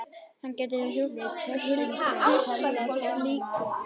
Hann gæti huslað líkin á afviknum stað.